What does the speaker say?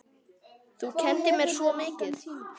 Þú kenndir mér svo mikið.